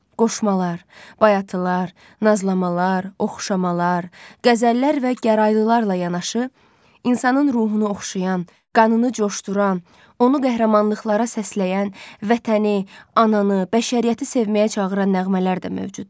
Qoşmalar, bayatılar, nazlamalar, oxşamalar, qəzəllər və gəraylılarla yanaşı, insanın ruhunu oxşayan, qanını coşduran, onu qəhrəmanlıqlara səsləyən, vətəni, ananı, bəşəriyyəti sevməyə çağıran nəğmələr də mövcuddur.